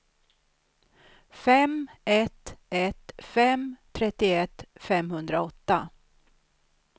fem ett ett fem trettioett femhundraåtta